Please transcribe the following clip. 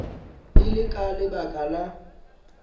e le ka lebaka la